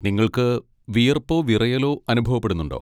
നിങ്ങൾക്ക് വിയർപ്പോ വിറയലോ അനുഭവപ്പെടുന്നുണ്ടോ?